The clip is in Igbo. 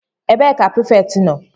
Ebee ka prefect nọ?